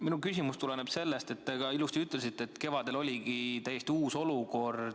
Minu küsimus tuleneb sellest, et te ilusti ütlesite, et kevadel oli täiesti uus olukord.